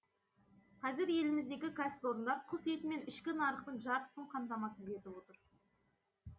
қазір еліміздегі кәсіпорындар құс етімен ішкі нарықтың жартысын қамтамасыз етіп отыр